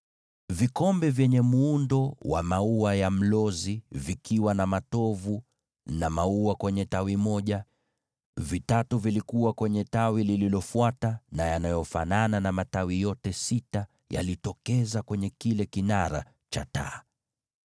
Vikombe vitatu vya mfano wa maua ya mlozi yenye matovu na maua vilikuwa katika tawi moja, vikombe vitatu katika tawi jingine, na vivyo hivyo kwa matawi yote sita yaliyotokeza kwenye kile kinara cha taa.